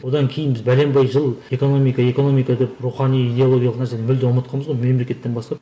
одан кейін біз пәленбай жыл экономика экономика деп рухани иделогиялық нәрсені мүлде ұмытқанбыз ғой мемлекеттен бастап